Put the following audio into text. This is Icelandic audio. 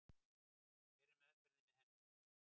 Hver er meðferðin við henni?